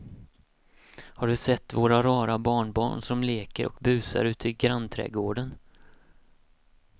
Har du sett våra rara barnbarn som leker och busar ute i grannträdgården!